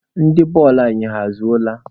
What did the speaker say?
Ndị tim bọọlụ anyị, ha ezuola?